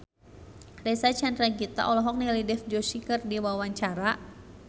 Reysa Chandragitta olohok ningali Dev Joshi keur diwawancara